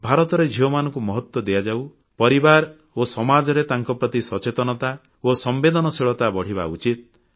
ଭାରତରେ ଝିଅମାନଙ୍କୁ ମହତ୍ୱ ଦିଆଯାଉ ପରିବାର ଓ ସମାଜରେ ତାଙ୍କ ପ୍ରତି ସଚେତନତା ଓ ସମ୍ବେଦନଶୀଳତା ବଢ଼ିବା ଉଚିତ